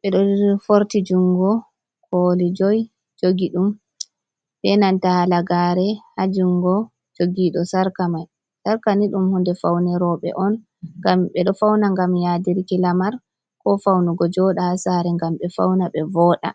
ɓeɗo forti jungo ɓoli jui jogi ɗum ɓe Nanta halagare ha jungo jogiɗo. sarka mai sarka ni dum hunɗe Faune roɓe on gam ɓeɗo fauna gam yaɗirki lamar ko faunugo joɗa sare ngam ɓe fauna ɓe voɗa.